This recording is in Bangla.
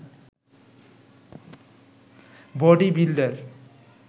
body builder